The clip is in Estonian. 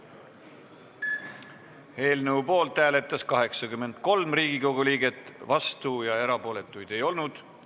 Hääletustulemused Eelnõu poolt hääletas 83 Riigikogu liiget, vastuolijaid ja erapooletuid ei olnud.